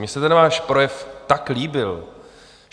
Mně se ten váš projev tak líbil.